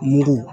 Yiri